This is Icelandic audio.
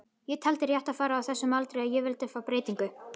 Ég taldi rétt að fara á þessum aldri og ég vildi fá breytingu.